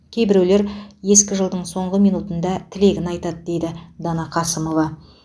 кейбіреулер ескі жылдың соңғы минутында тілегін айтады дейді дана қасымова